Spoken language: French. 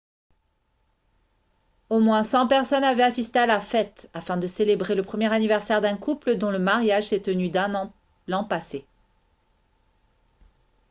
au moins 100 personnes avaient assisté à la fête afin de célébrer le premier anniversaire d'un couple dont le mariage s'est tenu l'an passé